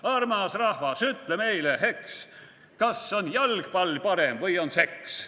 / Armas rahvas, ütle meile, eks, / kas on jalgpall parem või on seks.